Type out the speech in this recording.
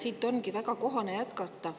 Siit ongi väga kohane jätkata.